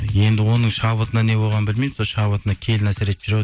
енді оның шабытына не болғанын білмеймін сол шабытына келін әсер етіп жүр ау